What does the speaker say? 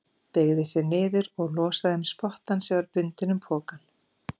Beygði sig niður og losaði um spottann sem var bundinn um pokann.